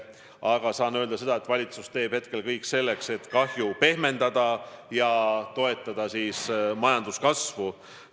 Aga saan öelda seda, et valitsus teeb kõik selleks, et kahju pehmendada ja toetada majanduskasvu.